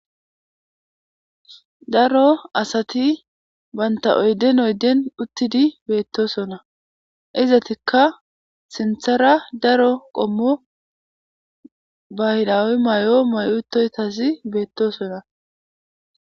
Daro asati bantta oyden oyden uttidi beettoosona. Izatikka sinthara daro qommo bahraawe mayo mayidi uttosazi beettosona.